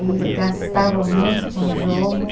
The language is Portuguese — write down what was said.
E gastava muito com jogo.